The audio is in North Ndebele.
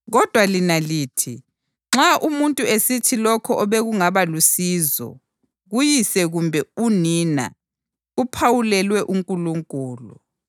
Kodwa lina lithi nxa umuntu esithi lokho obekungaba lusizo kuyise kumbe unina kuphawulelwe uNkulunkulu,